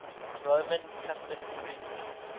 roman catholic priest